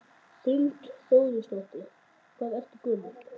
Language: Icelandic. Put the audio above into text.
Hrund Þórsdóttir: Hvað ertu gömul?